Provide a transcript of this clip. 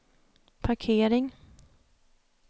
parkering